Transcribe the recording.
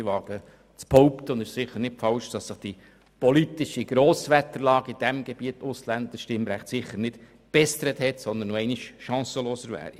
Ich wage auch zu behaupten – und das ist sicher nicht falsch –, dass sich die politische Grosswetterlage im Bereich Ausländerstimmrecht inzwischen sicher nicht gebessert hat und das Anliegen erneut chancenlos wäre.